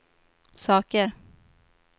saker